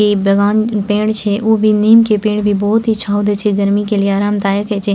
इ बागान इ पेड़ छै उ भी नीम के पेड़ भी बहुत ही छांव दे छै गर्मी के लिए आरामदायक हेय छै।